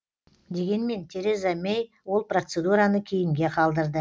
дегенмен тереза мэй ол процедураны кейінге қалдырды